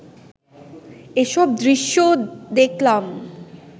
এসব দৃশ্যও দেখলাম